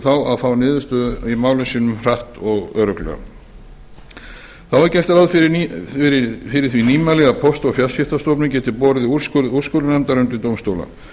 þá að fá niðurstöðu í málum sínum hratt og örugglega þá er gert ráð fyrir því nýmæli að póst og fjarskiptastofnun geti borið úrskurð úrskurðarnefndar undir dómstóla